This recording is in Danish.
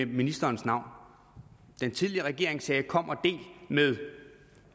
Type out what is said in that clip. ministerens navn den tidligere regering sagde kom og del med